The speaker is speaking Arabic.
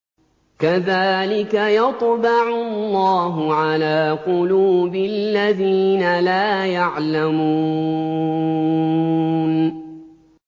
كَذَٰلِكَ يَطْبَعُ اللَّهُ عَلَىٰ قُلُوبِ الَّذِينَ لَا يَعْلَمُونَ